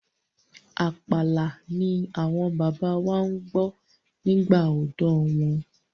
Àpàlà ni àwọn bàbá wa gbọ́ nígbà ọ̀dọ́ wọn.